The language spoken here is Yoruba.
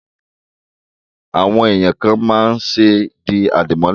Àwọn èèyàn kàn máa ń ṣe di àdìmọ́lẹ̀